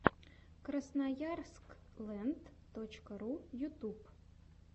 красноярск лэнд точка ру ютюб